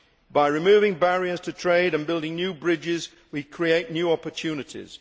By removing barriers to trade and building new bridges we create new opportunities.